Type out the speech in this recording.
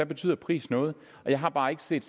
betyder pris noget jeg har bare ikke set